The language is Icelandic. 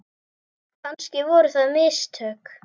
Kannski voru það mistök.